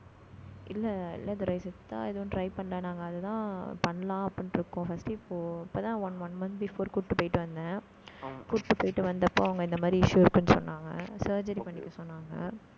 இல்ல இல்ல துரை சித்தா எதுவும் try பண்ணல. நாங்க, அதுதான், பண்ணலாம் அப்படின்னு இருக்கோம். first இப்போ இப்பதான் one one month before குடுத்து, போயிட்டு வந்தேன் கூட்டிட்டு போயிட்டு வந்தப்போ அவங்க இந்த மாதிரி issue இருக்குன்னு சொன்னாங்க